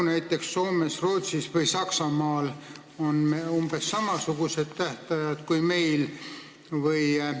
Kas näiteks Soomes, Rootsis või Saksamaal on umbes samasugused tähtajad kui meil?